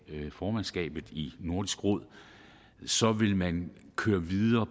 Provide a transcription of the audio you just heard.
formandskabet i nordisk råd så vil man køre videre